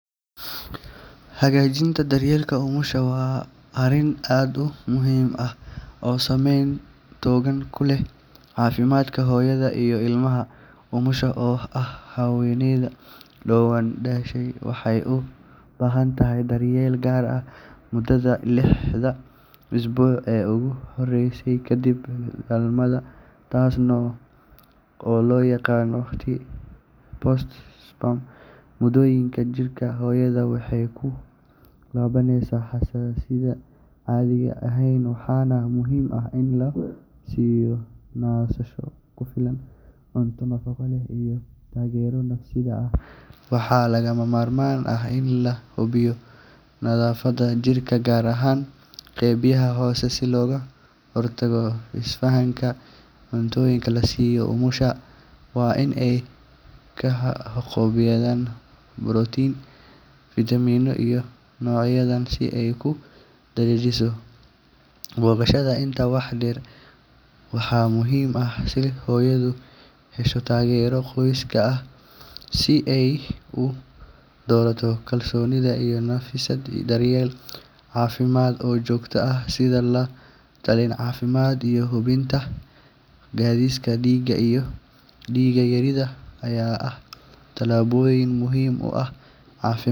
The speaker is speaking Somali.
Hagajinta daryeelka umusha wa arin aad u muhim ah oo sameyn toogan kuleh caafimaadka hoyadha iya ilmaha umusha oo ah haweyneydu doban dashi waxay u bahantahay daryeel gaar ah, mudadha lexda isbuuci uguhoreysay kadib dalmadha taasno oo loyaqana ti sport sperm wadoyinka jirka hoyadha waxey kulabaneysa xasasidha ay ehen waxayna muhim ah in lasiyo nasasho kufilan cunta nafaqo leh iyo taagera nafsidha ah. Waxa lagamarman ah in lahubiyo nadhafada jirka gaar ahaan qeybiyaha hoose si loga hortaga isfahanka cuntoyinka lasiyo umusha wa in ay kahaqobiyadhan protein vitamina iyo noocyadhan si ay kudajisho. Boqoshadha inta wax deer waxa muhim ah sidha hoyadha hesho taagero qoyska ah si ay udorata kalsonidha nafisada daryeelka caafimaad oo jogta ah sidha la dareen cafimaad iyo hubinta kadhiska dhiiga iyo dhiiga yaridha ay ah talaboyin muhim u ah cafimaad.